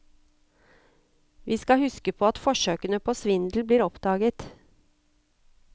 Vi skal huske på at forsøkene på svindel blir oppdaget.